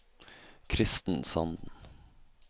Christen Sanden